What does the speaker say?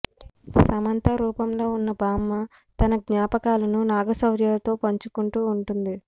సమంత రూపంలో ఉన్న బామ్మ తన జ్ఞాపకాలను నాగశౌర్యతో పంచుకుంటూ ఉంటుంది